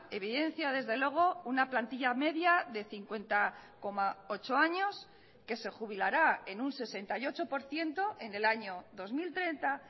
evidencia desde luego una plantilla media de cincuenta coma ocho años que se jubilará en un sesenta y ocho por ciento en el año dos mil treinta